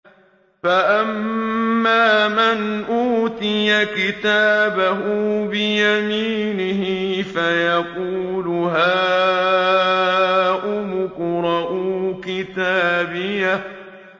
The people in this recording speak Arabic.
فَأَمَّا مَنْ أُوتِيَ كِتَابَهُ بِيَمِينِهِ فَيَقُولُ هَاؤُمُ اقْرَءُوا كِتَابِيَهْ